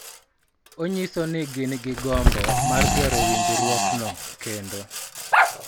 Onyiso ni gin gi gombo mar gero winjruokno kendo .